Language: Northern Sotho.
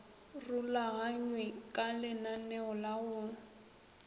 rulaganywe ka lenaneo la go